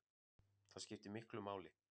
Það skiptir miklu máli